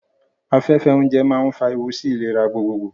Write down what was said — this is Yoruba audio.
Afẹ́fẹ́ oúnjẹ máa ń fa ewu sí ìlera gbogbogbò.